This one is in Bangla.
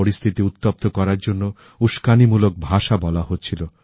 পরিস্থিতি উত্তপ্ত করার জন্য উস্কানিমূলক ভাষা বলা হচ্ছিল